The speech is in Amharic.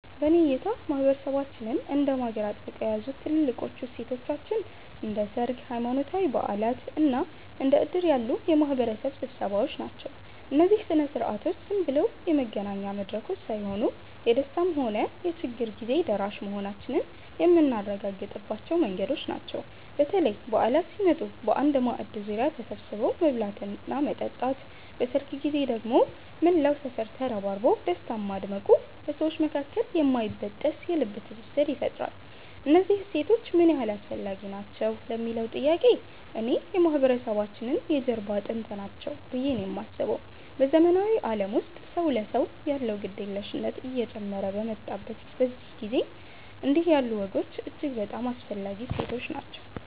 በእኔ እይታ ማህበረሰባችንን እንደ ማገር አጥብቀው የያዙት ትልልቆቹ እሴቶቻችን እንደ ሰርግ፣ ሃይማኖታዊ በዓላት እና እንደ ዕድር ያሉ የማህበረሰብ ስብሰባዎች ናቸው። እነዚህ ሥነ ሥርዓቶች ዝም ብለው የመገናኛ መድረኮች ሳይሆኑ፣ የደስታም ሆነ የችግር ጊዜ ደራሽ መሆናችንን የምናረጋግጥባቸው መንገዶች ናቸው። በተለይ በዓላት ሲመጡ በአንድ ማዕድ ዙሪያ ተሰብስቦ መብላትና መጠጣት፣ በሰርግ ጊዜ ደግሞ መላው ሰፈር ተረባርቦ ደስታን ማድመቁ በሰዎች መካከል የማይበጠስ የልብ ትስስር ይፈጥራል። እነዚህ እሴቶች ምን ያህል አስፈላጊ ናቸው ለሚለዉ ጥያቄ፣ እኔ የማህበረሰባችን የጀርባ አጥንት ናቸው ብዬ ነው የማስበው። በዘመናዊው ዓለም ውስጥ ሰው ለሰው ያለው ግድየለሽነት እየጨመረ በመጣበት በዚህ ጊዜ፣ እንዲህ ያሉ ወጎች እጅግ በጣም አስፈላጊ እሴቶች ናቸው።